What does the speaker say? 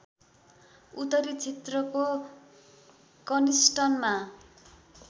उत्तरी क्षेत्रको कनिस्टनमा